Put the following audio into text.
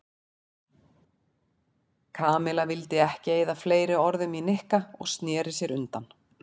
Kamilla vildi ekki eyða fleiri orðum í Nikka og snéri sér undan.